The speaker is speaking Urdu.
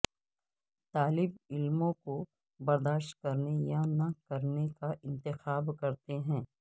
طالب علموں کو برداشت کرنے یا نہ کرنے کا انتخاب کرتے ہیں